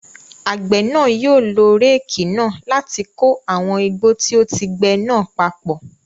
Àgbẹ̀ náà yóò lo réékì náà láti kó àwọn igbó tí ó ti gbe náà papọ̀.